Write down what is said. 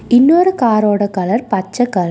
இன்னொரு கார் ஓட கலர் பச்ச கலர் .